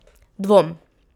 Dvom.